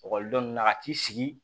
Ekɔlidenw na ka t'i sigi